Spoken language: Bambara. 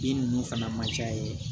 Bin ninnu fana ma ca yen